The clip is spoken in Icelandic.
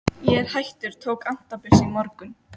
Ég er hættur, tók antabus í morgun.